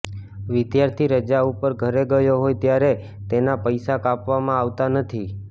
વિદ્યાર્થી રજા ઉપર ઘરે ગયો હોય ત્યારે તેના પૈસા કાપવામાં આવતા નથી